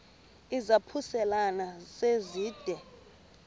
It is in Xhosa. izaphuselana se zide